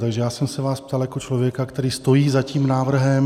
Takže já jsem se vás ptal jako člověka, který stojí za tím návrhem.